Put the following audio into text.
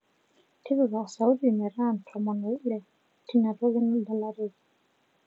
tipika osauti meeta ntomon ooile tinatoki nadalareki